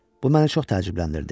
Bu məni çox təəccübləndirdi.